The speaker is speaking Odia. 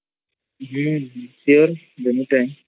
ହଁ ସ୍ଉରେ ଦେମୀ ଟାଇମ୍